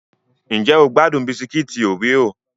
Ǹjẹ́ o gbádùn Bisikiti oreo?